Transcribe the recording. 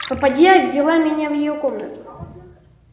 попадья ввела меня в её комнату